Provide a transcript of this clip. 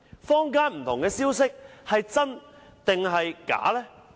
坊間不同的消息是真還是假？